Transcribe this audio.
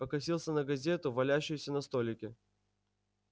покосился на газету валяющуюся на столике